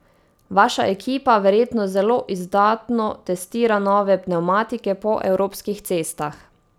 Vaša ekipa verjetno zelo izdatno testira nove pnevmatike po evropskih cestah.